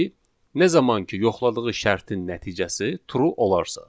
nə zaman ki yoxladığı şərtin nəticəsi true olarsa.